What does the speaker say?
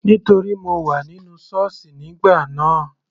Nítorí mo wà nínú sọ́ọ̀sì nígbà náà.